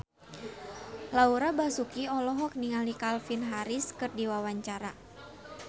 Laura Basuki olohok ningali Calvin Harris keur diwawancara